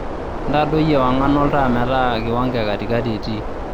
intadoi ewang'an oltaa metaa kiwango ee katikati etii